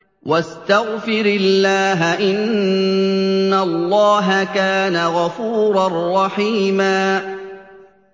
وَاسْتَغْفِرِ اللَّهَ ۖ إِنَّ اللَّهَ كَانَ غَفُورًا رَّحِيمًا